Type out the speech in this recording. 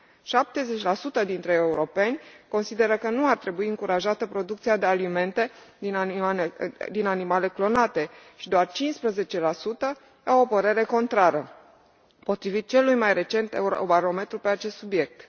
70 dintre europeni consideră că nu ar trebui încurajată producția de alimente din animale clonate și doar 15 la sută au o părere contrară, potrivit celui mai recent Eurobarometru pe acest subiect.